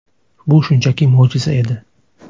Bu shunchaki mo‘jiza edi.